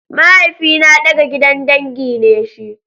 Mahaifina ɗaga gidan dangi ne shi.